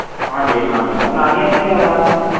ਹਾਂਜੀ ਹਾਂਜੀ ਹੁਣ ਆ ਰਹੀ ਹੈ ਮੇਰੀ ਆਵਾਜ਼?